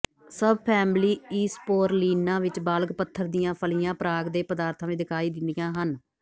subfamily ਈਸਪੋਰਲੀਨਾ ਵਿੱਚ ਬਾਲਗ਼ ਪੱਥਰ ਦੀਆਂ ਫਲੀਆਂ ਪਰਾਗ ਦੇ ਪਦਾਰਥਾਂ ਵਿੱਚ ਦਿਖਾਈ ਦਿੰਦੀਆਂ ਹਨ